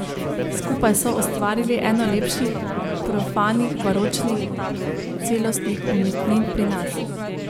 Skupaj so ustvarili eno lepših profanih baročnih celostnih umetnin pri nas.